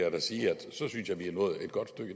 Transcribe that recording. at vi siger